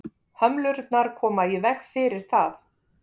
Hömlurnar koma í veg fyrir það.